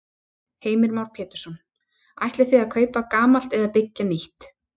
Heimir Már Pétursson: Ætlið þið að kaupa gamalt eða byggja nýtt?